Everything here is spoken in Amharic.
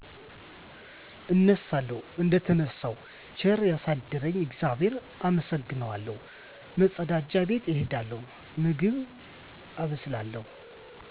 እነሣለሁ። እደተነሣው ቸር ያሣደረኝን እግዚአብሔር አመሠግናለሁ፤ መፀዳጃ ቤት እሄዳለሁ፤ ምግብ አበስላለሁ።